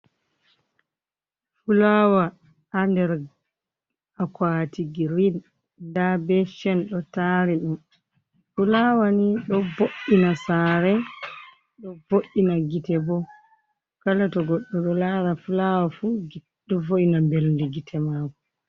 Fulawa ha nder akuati grin nda be chen ɗo tari ɗum, fulawa ni ɗo bo’’ina sare, ɗo bo’’ina gite bo, kala to goɗɗo ɗo lara fulawa fu ɗo vo’ina mɓelndi gitte mako.